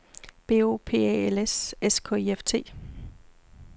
B O P Æ L S S K I F T